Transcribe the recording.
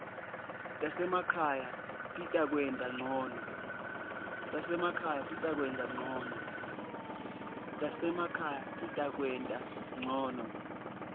tasemakhaya titakwenta ngcono